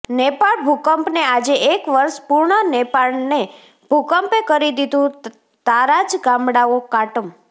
નેપાળ ભૂકંપને આજે એક વર્ષ પૂર્ણ નેપાળને ભૂકંપે કરી દીધું તારાજ ગામડાઓ કાટમ